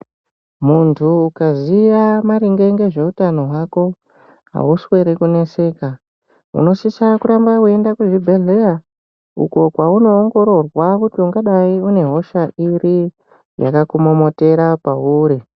Muntu ukaziya maringe ngezveutano hwako hauswere kuneseka. Unosise kuramba veiende kuzvibhedhleya uko kwaunoongororwa kuti ungadai une hosha iri yakakumomotera pauri.